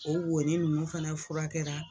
O wonin nunnu fana fukɛra